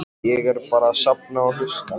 Ég er bara að safna og hlusta.